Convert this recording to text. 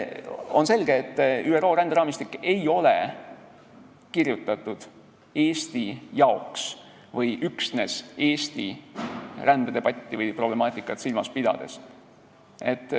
On selge, et ÜRO ränderaamistik ei ole kirjutatud Eesti jaoks või üksnes Eesti rändedebatti või problemaatikat silmas pidades.